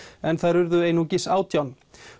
en þær urðu einungis átján